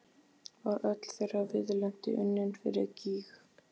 Var öll þeirra viðleitni unnin fyrir gýg?